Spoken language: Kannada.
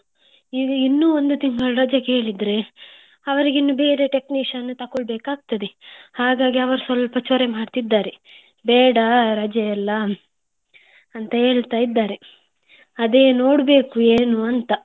ಈಗ ಇನ್ನೂ ಒಂದು ತಿಂಗಳು ರಜೆ ಕೇಳಿದ್ರಿ ಅವರಿಗೆ ಬೇರೆ technician ತಕೊಳ್ಬೇಕಾಗ್ತದೆ ಹಾಗಾಗಿ ಅವ್ರು ಸ್ವಲ್ಪಚೊರೆ ಮಾಡುತ್ತಿದ್ದಾರೆ ಬೇಡ ರಜೆಯೆಲ್ಲ ಅಂತ ಹೇಳ್ತಾ ಇದ್ದಾರೆ ಅದೇ ನೋಡ್ಬೇಕು ಏನು ಅಂತ.